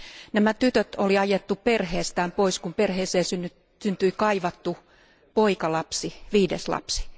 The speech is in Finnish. Nämä tytöt oli ajettu perheestään pois, kun perheeseen syntyi kaivattu poikalapsi, viides lapsi.